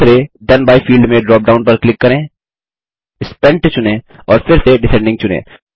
दूसरे then by field में drop down पर क्लिक करें स्पेंट चुनें और फिर से डिसेंडिंग चुनें